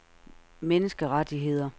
menneskerettigheder